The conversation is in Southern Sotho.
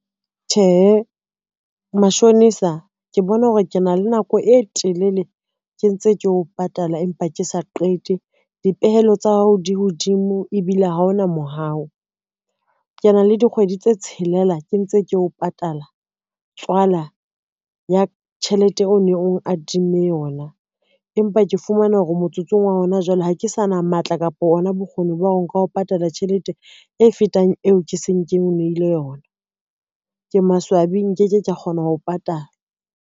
Tjhehe, mashonisa ke bona hore ke na le nako e telele ke ntse ke o patala, empa ke sa qete dipehelo tsa hao di hodimo, ebile ha ona mohau. Ke na le dikgwedi tse tshelela ke ntse ke o patala tswala ya tjhelete o neng o ngadimme yona, empa ke fumana hore motsotsong wa hona jwale, ha ke sa na matla kapa ona bokgoni ba ho nka ho patala tjhelete e fetang eo ke seng ke o nehile yona, ke maswabi nkeke ka kgona ho patala.